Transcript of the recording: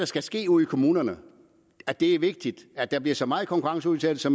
skal ske ude i kommunerne er det vigtigt at der bliver så meget konkurrenceudsættelse